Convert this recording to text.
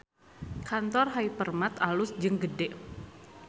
Kantor Hypermart alus jeung gede